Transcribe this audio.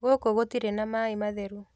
Gũkũ gũtirĩ na maĩ matheru